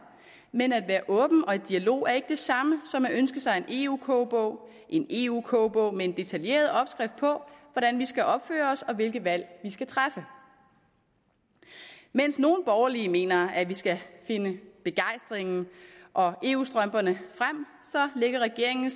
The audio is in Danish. men at være åben og i dialog er ikke det samme som at ønske sig en eu kogebog en eu kogebog med en detaljeret opskrift på hvordan vi skal opføre os og hvilke valg vi skal træffe mens nogle borgerlige mener at vi skal finde begejstringen og eu strømperne frem lægger regeringen